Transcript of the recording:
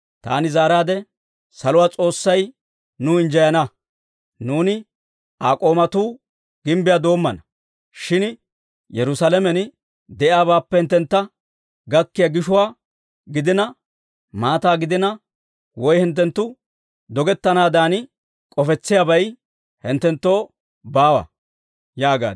Taani zaaraadde, «Saluwaa S'oossay nuw injjeyana; nuuni Aa k'oomatuu gimbbiyaa doommana. Shin Yerusaalamen de'iyaabaappe hinttentta gakkiyaa gishuwaa gidina, maataa gidina, woy hinttenttu dogettennaadan k'ofissiyaabay hinttenttoo baawa» yaagaad.